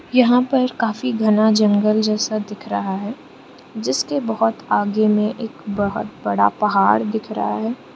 यहां पर काफी घना जंगल जैसा दिख रहा है जिसके बहुत आगे में एक बहुत बड़ा पहाड़ दिख रहा है।